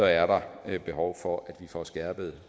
er der behov for at vi får skærpet